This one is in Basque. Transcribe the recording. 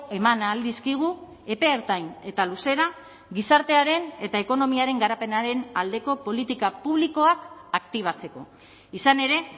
eman ahal dizkigu epe ertain eta luzera gizartearen eta ekonomiaren garapenaren aldeko politika publikoak aktibatzeko izan ere